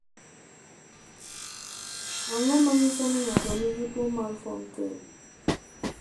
Ang’o ma nyiso ni ng’ato nigi tuwo mar Fountain?